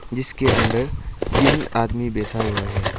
जिसके अंदर तीन आदमी बैठा हुआ है।